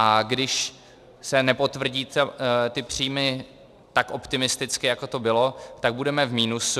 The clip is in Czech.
A když se nepotvrdí ty příjmy tak optimisticky, jako to bylo, tak budeme v minusu.